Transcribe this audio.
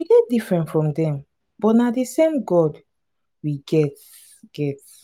we dey different from dem but na the same god we get get.